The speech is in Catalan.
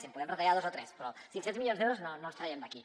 sí en podem retallar dos o tres però cinc cents milions d’euros no els traiem d’aquí